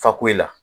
Fakoyi la